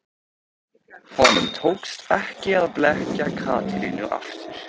Honum tókst ekki að blekkja Katrínu aftur.